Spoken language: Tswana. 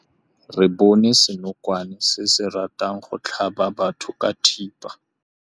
Re bone senokwane se se ratang go tlhaba batho ka thipa.